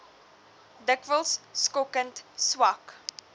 dikwels skokkend swak